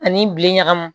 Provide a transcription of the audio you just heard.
Ani bilen ɲagamu